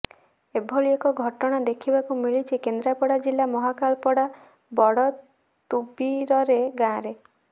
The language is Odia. ଏଭଳି ଏକ ଘଟଣା ଦେଖିବାକୁ ମିଳିଛି କେନ୍ଦ୍ରାପଡ଼ା ଜିଲ୍ଲା ମହାକାଳପଡ଼ା ବଡ଼ତୁବିରରେ ଗାଁରେ